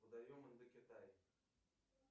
водоем индокитай